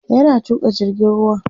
yana Tuka jirgin ruwan